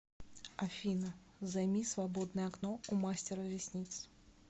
афина займи свободное окно у мастера ресниц